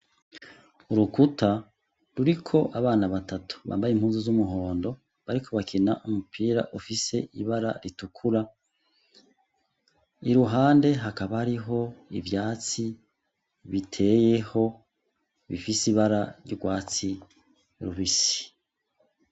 Urukuta ruriko abana batatu bambaye impuzu z’umuhondo bariko bakina umupira ufise ibara ritukura, iruhande hakaba hariho ivyatsi biteyeho bifise ibara ry'urwatsi rubisi.